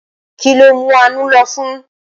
Kí ló mú Àánú lọ́fun?